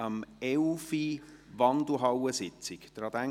Um 11 Uhr findet die Wandelhallensitzung statt.